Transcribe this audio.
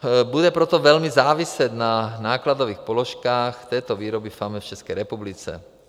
Bude proto velmi záviset na nákladových položkách této výroby FAME v České republice.